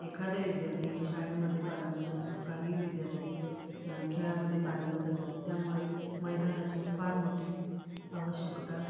एकदा विद्यार्थी शाळेमध्ये पारंगत असतो काही विद्यार्थी खेळामद्धे पारंगत असतात त्यामुळे मैदानाची फार मोठी आवश्यकता --